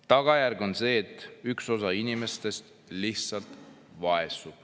Tagajärg on see, et üks osa inimestest lihtsalt vaesub.